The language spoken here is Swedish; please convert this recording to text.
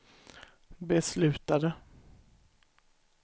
beslutade